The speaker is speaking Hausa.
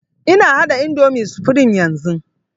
Ina haɗa indomie supreme yanzun